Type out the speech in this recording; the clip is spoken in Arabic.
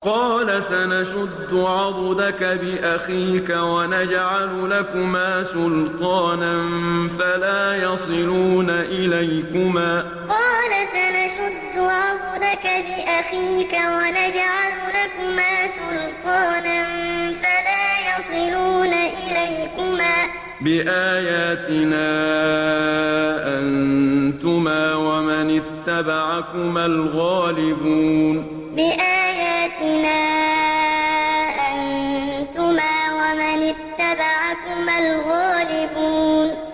قَالَ سَنَشُدُّ عَضُدَكَ بِأَخِيكَ وَنَجْعَلُ لَكُمَا سُلْطَانًا فَلَا يَصِلُونَ إِلَيْكُمَا ۚ بِآيَاتِنَا أَنتُمَا وَمَنِ اتَّبَعَكُمَا الْغَالِبُونَ قَالَ سَنَشُدُّ عَضُدَكَ بِأَخِيكَ وَنَجْعَلُ لَكُمَا سُلْطَانًا فَلَا يَصِلُونَ إِلَيْكُمَا ۚ بِآيَاتِنَا أَنتُمَا وَمَنِ اتَّبَعَكُمَا الْغَالِبُونَ